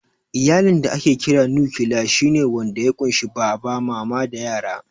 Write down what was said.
Iyalin da ake kira "nukiliya" shi ne wanda ya ƙunshi Baba, Mama da yara.